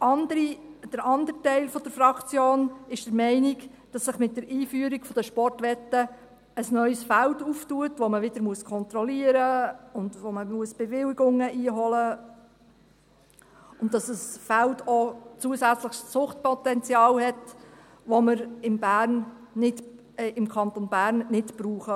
Der andere Teil der Fraktion ist der Meinung, dass sich mit der Einführung der Sportwetten ein neues Feld auftut, das man wieder kontrollieren muss und wo man wieder Bewilligungen einholen muss, und dass dieses Feld zusätzliches Suchtpotenzial hat, das wir im Kanton Bern nicht brauchen.